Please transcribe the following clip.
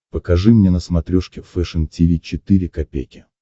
покажи мне на смотрешке фэшн ти ви четыре ка